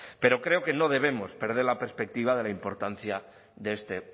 pero creo que no debemos perder la perspectiva de la importancia de este